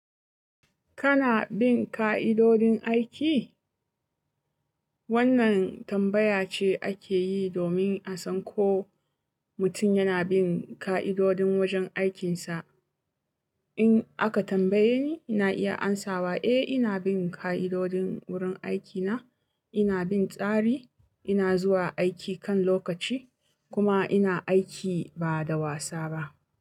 Kana bin ka'idodin aiki? Wannan tambaya ce ake yi domin a san ko mutum yana bin ka'idodin wajen aikinsa. In aka tambaye ni, ina iya amsawa, eh ina bin ka'idodin wurin aikina. Ina bin tsari, ina zuwa aiki kan lokaci kuma ina aiki ba da wasa ba.